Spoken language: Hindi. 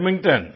बैडमिंटन